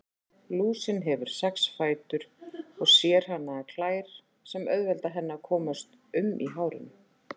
Lúsin hefur sex fætur og sérhannaðar klær sem auðvelda henni að komast um í hárinu.